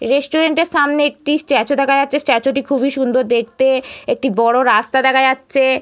রেটুরেন্টের সামনে একটি স্ট্যাচু দেখা যাচ্ছে স্ট্যাচুটি খুবই সুন্দর দেখতে -এ। একটি বড় রাস্তা দেখা যাচ্ছে।